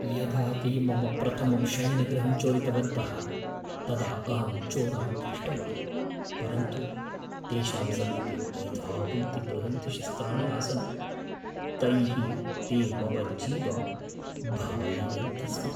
यदा ते मम प्रथमं शयनगृहं चोरितवन्तः तदा अहं चोरान् दृष्टवान्, परन्तु तेषां समीपे एतावन्ति बृहन्ति शस्त्राणि आसन्, तैः ते मम जीवं भाययन्ति स्म।